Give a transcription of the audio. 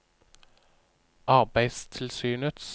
arbeidstilsynets